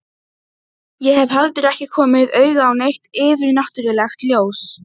Hann hefur þá verið samkvæmur sjálfum sér á þessum miðilsfundi.